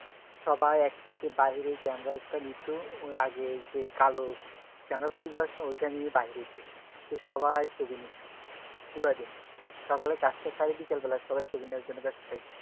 সবাই একসাথে বাইরে camera তে নিতো আগে যে কালো camera নিয়ে বাইরে যেত তো সবাই ছবি নিতো পুরা দিন সকালে কাজটা সেরে আবার বিকেল বেলায় সবই ছবি নেওয়ার জন্য ব্যাস্ত থাকতো